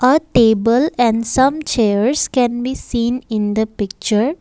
a table and some chairs can be seen in the picture.